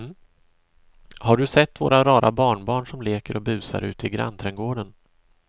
Har du sett våra rara barnbarn som leker och busar ute i grannträdgården!